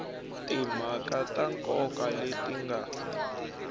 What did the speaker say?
timhaka ta nkoka leti nga